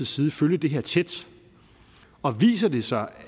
side følge det her tæt og viser det sig